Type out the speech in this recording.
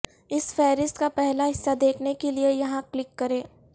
اس فہرست کا پہلا حصہ دیکھنے کے لیے یہاں کلک کریں